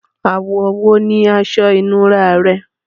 Ààwọ̀ wo ní asọ ìnúrá rẹ?